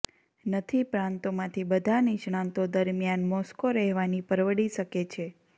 નથી પ્રાંતોમાંથી બધા નિષ્ણાતો દરમિયાન મોસ્કો રહેવાની પરવડી શકે છે